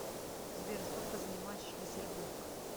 сбер сколько занимает шлиссельбург